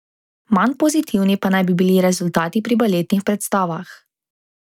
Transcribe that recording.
Manj pozitivni pa naj bi bili rezultati pri baletnih predstavah.